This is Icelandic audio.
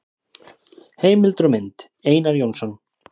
Heimildir og mynd: Einar Jónsson.